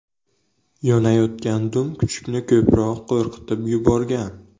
Yonayotgan dum kuchukni ko‘proq qo‘rqitib yuborgan.